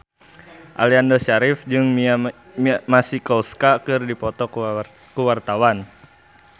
Aliando Syarif jeung Mia Masikowska keur dipoto ku wartawan